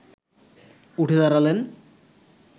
উঠে দাঁড়ালেন